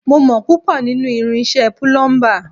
Mo mọ púpọ̀ nínú irinṣẹ́ púlúḿbà